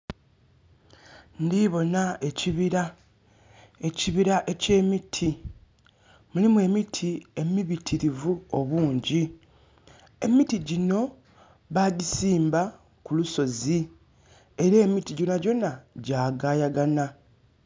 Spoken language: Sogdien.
Ndiboona ekibira, ekibira ekye miti. Mulimu emiti emibitirivu obungi. Emiti gino bagisimba ku lusozi era emiti gyonagyona gyagayagana